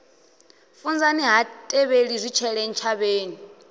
funzani ha tevheli zwitshele ntshavheni